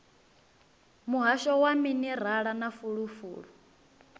muhasho wa minerala na fulufulu